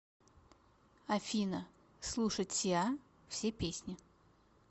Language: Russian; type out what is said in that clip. афина слушать сиа все песни